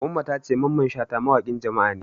Umma ta ce Mamman Shata mawaƙin Jama'a ne.